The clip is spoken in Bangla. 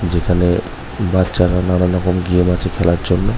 যেখানে বাচ্চারা নানা রকম গেম আছে খেলার জন্য।